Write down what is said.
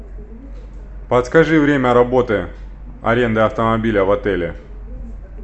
подскажи время работы аренды автомобиля в отеле